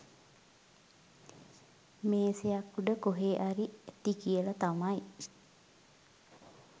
මේසයක් උඩ කොහෙ හරි ඇති කියලා තමයි